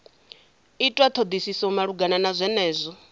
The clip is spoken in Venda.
itwa thodisiso malugana na zwenezwo